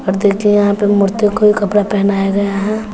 यहां पे मूर्ति कोई कपड़ा पहनाया गया है।